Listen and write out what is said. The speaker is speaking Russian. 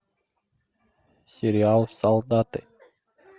сериал солдаты